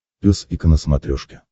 пес и ко на смотрешке